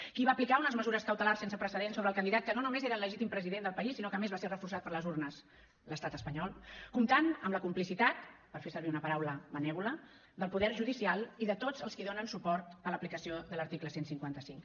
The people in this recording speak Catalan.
qui va aplicar unes mesures cautelars sense precedents sobre el candidat que no només era el legítim president del país sinó que a més va ser reforçat per les urnes l’estat espanyol comptant amb la complicitat per fer servir una paraula benèvola del poder judicial i de tots els qui donen suport a l’aplicació de l’article cent i cinquanta cinc